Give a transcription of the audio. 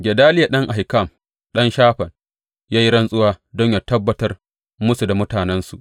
Gedaliya ɗan Ahikam, ɗan Shafan, ya yi rantsuwa don yă tabbatar musu da mutanensu.